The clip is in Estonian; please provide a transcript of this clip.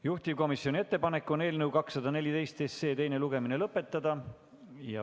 Juhtivkomisjoni ettepanek on eelnõu 214 teine lugemine lõpetada.